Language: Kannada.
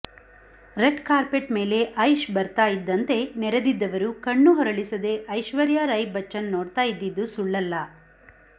ರೆಡ್ ಕಾರ್ಪೆಟ್ ಮೇಲೆ ಐಶ್ ಬರ್ತಾ ಇದ್ದಂತೆ ನೆರೆದಿದ್ದವರು ಕಣ್ಣು ಹೊರಳಿಸದೆ ಐಶ್ವರ್ಯ ರೈ ಬಚ್ಚನ್ ನೋಡ್ತಾ ಇದ್ದಿದ್ದು ಸುಳ್ಳಲ್ಲ